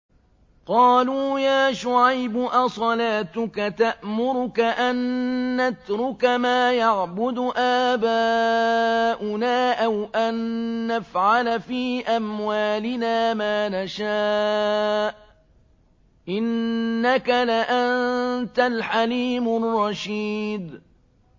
قَالُوا يَا شُعَيْبُ أَصَلَاتُكَ تَأْمُرُكَ أَن نَّتْرُكَ مَا يَعْبُدُ آبَاؤُنَا أَوْ أَن نَّفْعَلَ فِي أَمْوَالِنَا مَا نَشَاءُ ۖ إِنَّكَ لَأَنتَ الْحَلِيمُ الرَّشِيدُ